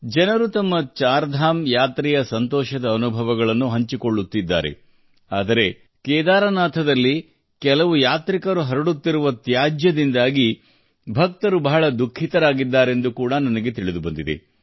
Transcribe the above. ಜನರು ತಮ್ಮ ಚಾರ್ಧಾಮ್ ಯಾತ್ರೆಯ ಸಂತೋಷದ ಅನುಭವಗಳನ್ನು ಹಂಚಿಕೊಳ್ಳುತ್ತಿದ್ದಾರೆ ಆದರೆ ಕೇದಾರನಾಥದಲ್ಲಿ ಕೆಲವು ಯಾತ್ರಿಕರು ಹರಡುತ್ತಿರುವ ತ್ಯಾಜ್ಯದಿಂದಾಗಿ ಭಕ್ತರು ಬಹಳ ದುಃಖಿತರಾಗಿದ್ದಾರೆಂದು ಕೂಡಾ ನನಗೆ ತಿಳಿದುಬಂದಿದೆ